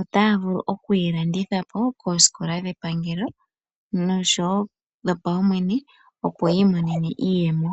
otaya vulu okuyi landithapo koosikola dhepangelo oshowo dhopaumwene opo yiimone iiyemo.